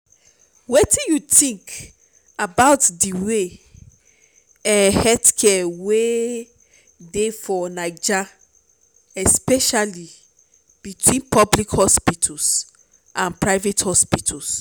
wetin you think about di way um healthcare wey dey for naija especially between public hospitals and private clinics?